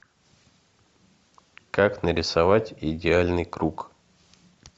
как нарисовать идеальный круг